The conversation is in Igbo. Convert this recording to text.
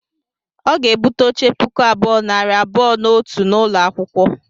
Ọ ga-egbute oche puku abụọ, nari abụọ na otu n'ụlọ akwụkwọ.